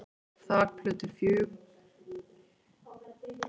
Þakplötur fjúka af sumum húsum, tjón verður einnig á gluggum og lélegum dyraumbúnaði.